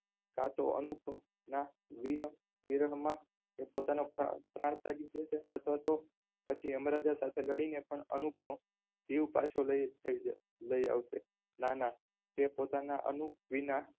કાં તો અનુપમ ના વિરહ માં તે પોતાનો પ્રાણ પ્રાણ ત્યાગી દેશે અથવા તો પછી યમરાજા સાથે લડીને પણ અનુપનો જીવ પાછો લઈ જશે લઈ આવશે. ના ના તે પોતાના અનુપ વિના